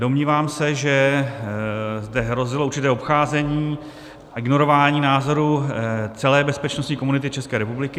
Domnívám se, že zde hrozilo určité obcházení a ignorování názorů celé bezpečnostní komunity České republiky.